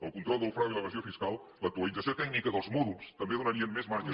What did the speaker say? el control del frau i l’evasió fiscal l’actualització tècnica dels mòduls també donarien més marges